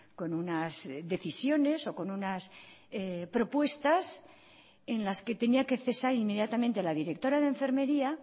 con unas decisiones o con unas propuestas en las que tenía que cesar inmediatamente la directora de enfermería